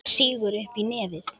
Hún sýgur upp í nefið.